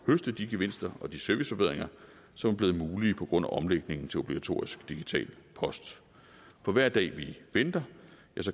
høste de gevinster og de serviceforbedringer som er blevet mulige på grund af omlægningen til obligatorisk digital post for hver dag vi venter